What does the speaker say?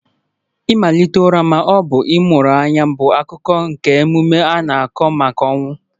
Ịmalite ụra ma ọ bụ ịmụrụ anya bụ akụkụ nke emume a na-akwụ maka ọnwụ